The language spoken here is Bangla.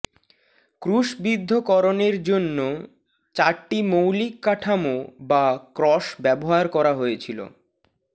ক্রুশবিদ্ধকরণের জন্য চারটি মৌলিক কাঠামো বা ক্রস ব্যবহার করা হয়েছিল